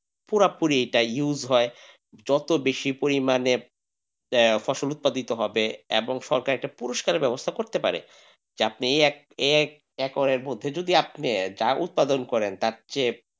পুরাপুরি এইটা use হয় যত বেশি পরিমাণে ফসল উৎপাদিত হবে এবং সরকারকে একটা পুরস্কারএর ব্যবস্থা করতে পারে। এই এই একরের মধ্যে যদি আপনি চাল উৎপাদন করেন তার চেয়ে।